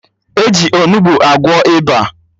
E ji Onugbu agwọ ịba